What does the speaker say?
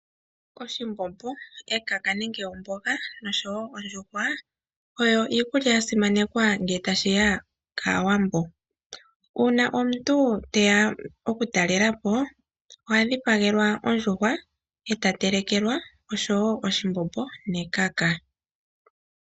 Oshithima, ekaka nenge omboga oshowo ondjuhwa, oyo iikulya ya simanekwa ngele tashiya kAawambo. Uuna omuntu teya okutalelapo, oha dhipagelwa ondjuhwa, nokutelekelwa wo oshithima nekaka.